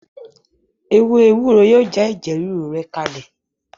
Ewé ewúro yóò já ẹ̀jẹ̀ rúru rẹ kalẹ̀